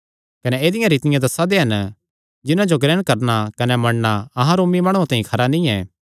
कने ऐदिआं रीतियां दस्सा दे हन जिन्हां जो ग्रहण करणा कने मन्नणा अहां रोमी माणुआं तांई खरा नीं ऐ